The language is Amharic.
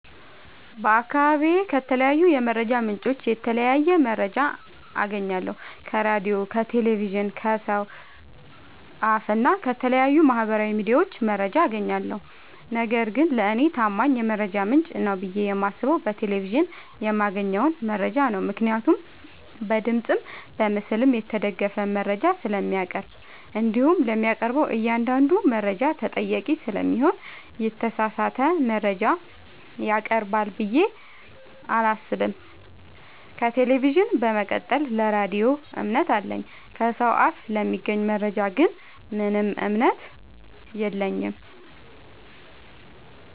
በአካባቢዬ ከተለያዩ የመረጃ ምንጮች የተለያየ መረጃ አገኛለሁ ከራዲዮ ከቴሌቪዥን ከሰው አፋ እና ከተለያዩ ማህበራዊ ሚዲያዎች መረጃ አጋኛለሁ። ነገርግን ለኔ ታማኝ የመረጃ ምንጭ ነው ብዬ የማስበው በቴሌቪዥን የማገኘውን መረጃ ነው ምክንያቱም በድምፅም በምስልም የተደገፈ መረጃ ስለሚያቀርብ። እንዲሁም ለሚያቀርበው እኛአንዳዱ መረጃ ተጠያቂ ስለሚሆን የተሳሳተ መረጃ ያቀርባል ብዬ አላሰብም። ከቴሌቪዥን በመቀጠል ለራዲዮ እምነት አለኝ። ከሰው አፍ ለሚገኝ መረጃ ግን ምንም እምነት የለኝም።